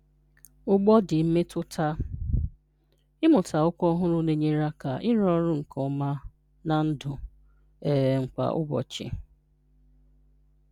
Ugbọdị mmetụta: Ịmụta okwu ọhụrụ na-enyere aka ịrụ ọrụ nke ọma na ndụ um kwa ụbọchị.